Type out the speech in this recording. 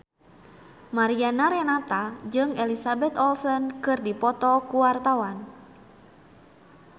Mariana Renata jeung Elizabeth Olsen keur dipoto ku wartawan